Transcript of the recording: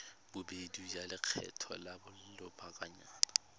bobedi ya lekgetho la lobakanyana